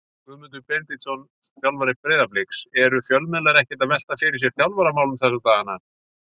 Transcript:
Guðmundur Benediktsson, þjálfari Breiðabliks Eru fjölmiðlar ekkert að velta fyrir sér þjálfaramálum þessa dagana?